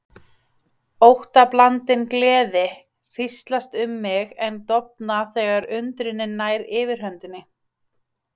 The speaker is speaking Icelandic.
Óttablandin gleði hríslast um mig en dofnar þegar undrunin nær yfirhöndinni.